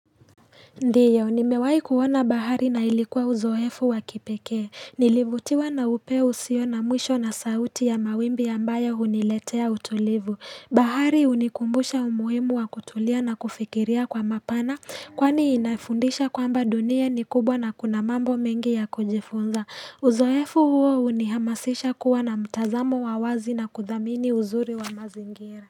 Ndiyo, nimewai kuona bahari na ilikuwa uzoefu wa kipekee, nilivutiwa na upeo usio na mwisho na sauti ya mawimbi ambayo huniletea utulivu, bahari hunikumbusha umuhimu wa kutulia na kufikiria kwa mapana, kwani inafundisha kwamba dunia ni kubwa na kuna mambo mengi ya kujifunza, uzoefu huo unihamasisha kuwa na mtazamo wa wazi na kuthamini uzuri wa mazingira.